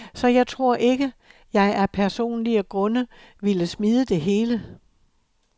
Så jeg tror ikke, jeg af personlige grunde ville smide det hele.